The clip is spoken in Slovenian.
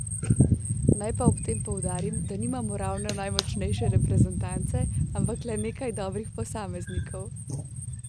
Naj pa ob tem poudarim, da nimamo ravno najmočnejše reprezentance, ampak le nekaj dobrih posameznikov.